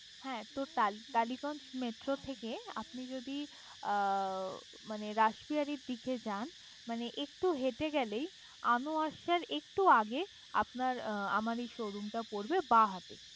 হ্যাঁ তো টালি~টালিগঞ্জ মেট্রো থেকে আপনি যদি মানে রাসবিহারীর দিকে যান, মানে একটু হেঁটে গেলেই আনোয়ারসার একটু আগেই আপনার আমার এই শোরুমটা পড়বে বাঁহাতে